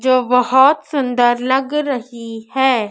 जो बहोत सुंदर लग रही है।